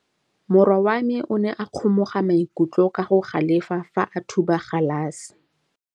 Morwa wa me o ne a kgomoga maikutlo ka go galefa fa a thuba galase.